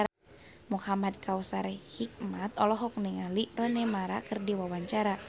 Muhamad Kautsar Hikmat olohok ningali Rooney Mara keur diwawancara